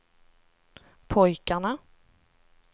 pojkarna